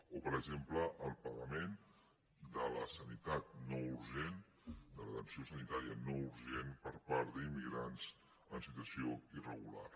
o per exemple al pagament de la sanitat no urgent de l’atenció sanitària no urgent per part d’immigrants en situació irregular